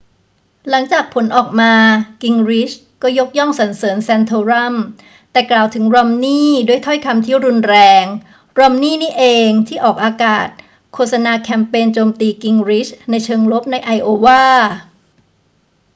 หลังจากผลออกมา กิงริชก็ยกย่องสรรเสริญแซนโทรัม แต่กล่าวถึงรอมนีย์ด้วยถ้อยคำที่รุนแรง รอมนีย์นี่เองที่ออกอากาศโฆษณาแคมเปญโจมตีกิงริชในเชิงลบในไอโอวา